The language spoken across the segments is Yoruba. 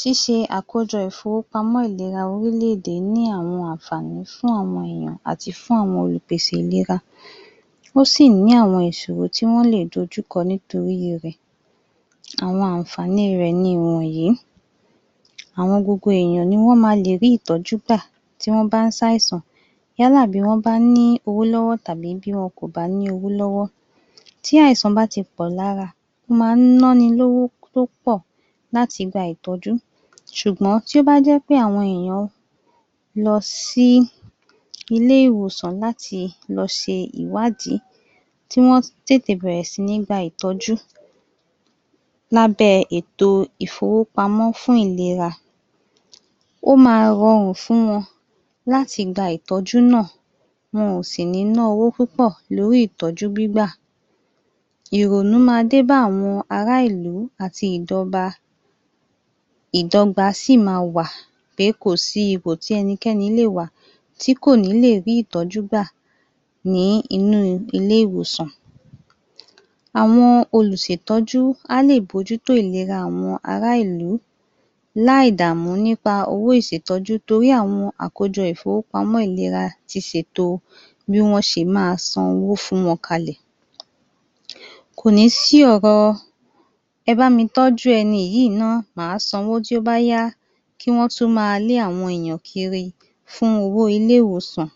Ṣíṣe àkójọ Ìfọwọ́pamọ́ ọrílẹ̀ èdè yìí ní àwọn àǹfààní fún àwọn ènìyàn àti fún àwọn Olùpèsè ìlera ó sì ní àwọn ìsòro tí wọ́n lè dojú kọ nítorí rẹ àwọn àǹfààní rẹ̀ ni ìwọ̀nyí gbogbo àwọn ènìyàn ní wọ́n máa le rí ìtọ́jú gbà tí wọ́n bá ń ṣe àìsàn yálà tí wọ́n bá ní owó lọ́wọ́ tàbí tí wọn kò bá ní owó lọ́wọ́ tí àìsàn bá ti pọ̀ lára ó máa ń ná ni lówó púpọ̀ láti gba ìtọ́jú ṣùgbọ́n tí ó bá jẹ́ pé àwọn ènìyàn lọ sí ilé ìwòsàn láti lọ ṣe ìwádìí tí wọ́n sì bẹ̀rẹ̀ sí ní lọ gba ìtọ́jú lábẹ́ ètò ìfowópamọ́ fún ìlera ó máa rọrùn fún wọn láti gba ìtọ́jú náà wọn ò sì ní ná owó púpọ̀ lórí ìtọ́jú gbígbà ìrònú máa dé bá àwọn ará ìlú àti ìdọgba sì máa wà pé kò sí ipò tí ẹnikẹni lè máa wà tí kò ní lè rí ìtọ́jú gbà nínú ilé ìwòsàn sì máa wà pé kò sí ipò tí ẹnikẹni lè máa wà tíàwọn olùṣètọ́jú á lè mójútó àwọn ará ìlú láì dààmú lára owó ìṣètọ́ju torí pé àwọn àkójọ Ìfọwọ́pamọ́ ti ṣètò bí wọ́n ṣe máa san owó fún wọn kalẹ̀ kò ní sí ọ̀rọ̀ ẹ bá mi tọ́jú ẹni yìí ná màá san owó tí ó bá yá kí Wọ́n tó máa lé àwọn ènìyàn kiri fún owó ilé ìwòsàn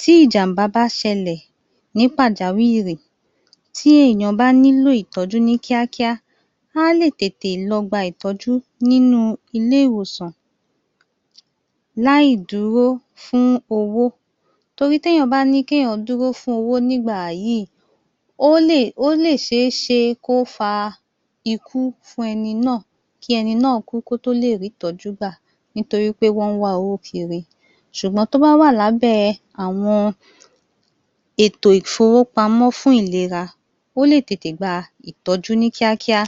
tí ìjàmbá bá ṣẹlẹ̀ ní pàjáwìrì tí ènìyàn bá nílò ìtọ́jú ní kíákíá á lè tètè lọ gba ìtọ́ju ní ilé ìwòsàn láì dúró fún owó nítorí tí ènìyàn bá sọ pé kí òun dúró fún owó nígbà yìí ó lè ṣeé ṣe kí ó fa ikú fún ẹni náà kí ẹni náà kú kí ó tó le rí ìtọ́jú gbà nítorí pé wọ́n ń wá owó kiiri ṣùgbọ́n tí ó bá wà lábẹ́ ètò Ìfọwọ́pamọ́ fún ìlera ó lè tètè gba ìtọ́jú ní kíákíá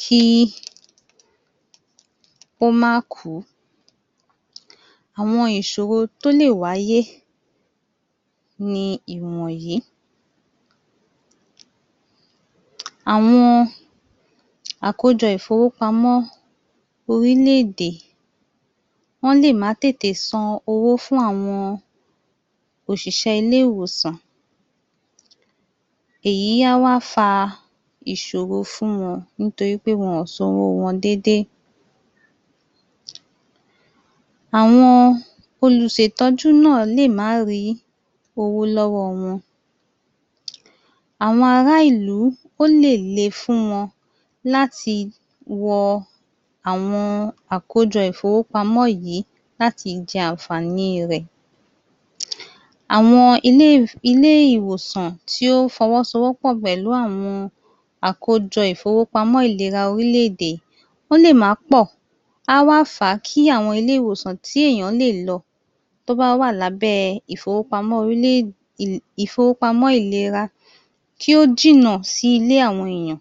kí ó má kù ú ó má kù ú àwọn ìṣòro tó lè wáyé ni ìwọ̀nyí àwọn ìṣòro tó lè wáyé ni ìwọ̀nyí àwọn àkójọ owó ní orílẹ̀ èdè wọ́n lè má tètè san owó fún àwọn òṣìṣẹ́ ilé ìwòsàn èyí á wá fa ìṣòro fún wọn nítorí pé wọnk ò san owó wọn déédéé àwọn olùṣètọ́jú náà lè má ní owó lọ́wọ́ wọn awon ará ìlú ó lè lé fún wọn láti wọ àwọn àkójọ Ìfọwọ́pamọ́ yìí láti jẹ àǹfààní rẹ àwọn ilé ìwòsàn tí ó fọwọ́ sọ wọ́pọ̀ pẹ̀lú àwọn àkójọ ìfowópamọ́ ìlera orílẹ̀ èdè ó lè má pọ̀ á wá fà á kí àwọn ilé ìwòsàn tí ènìyàn lè lọ tí ó wá wà lábẹ́ Ìfọwọ́pamọ́ ìlera kí ó jìnnà sí ilé àwọn ènìyàn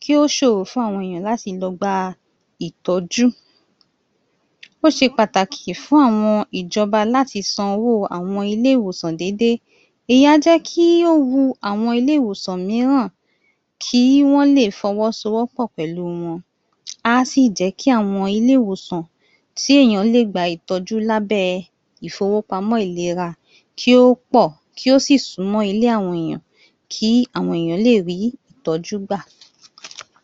kí ó ṣòro fún àwọn ènìyàn láti lọ gba ìtọ́jú ó ṣe pàtàkì fún àwọn ìjọba láti san owó àwọn ilé ìwòsàn déédéé, ìyẹn á jẹ́ kí ó wu àwọn ilé ìwòsàn mìíràn kí Wọ́n lè fọwọ́ sowọ́pọ̀ pẹ̀lú wọn á sì jẹ́ kí àwọn ilé ìwòsàn tí ènìyàn lè gba ìtọ́jú lábẹ́ ìfowópamọ́ ìlera kí ó pọ̀ kí ó sì sún mọ́ ilé àwọn ènìyàn kí àwọn ènìyàn lè rí ìtọ́jú gbà.